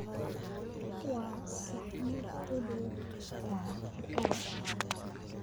waa saxmad u dhow taraafikada